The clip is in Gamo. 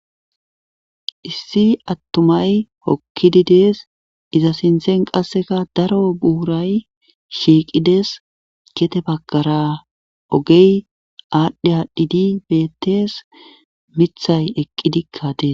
issi attumay hokkidi dees iza sinthen qasseka daro buhuray shiiqides gete bakara ogey aadhdhe aadhdhidi bettes mithay eqqidikka dees